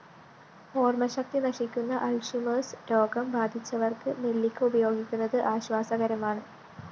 ഓര്‍മശക്തി നശിക്കുന്ന അള്‍ഷിമേര്‍സ് രോഗം ബാധിച്ചവര്‍ക്ക് നെല്ലിക്ക ഉപയോഗിക്കുന്നത് ആശ്വാസകരമാണ്